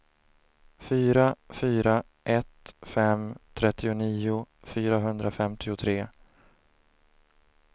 fyra fyra ett fem trettionio fyrahundrafemtiotre